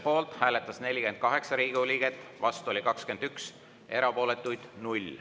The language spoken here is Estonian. Poolt hääletas 48 Riigikogu liiget, vastu oli 21, erapooletuid 0.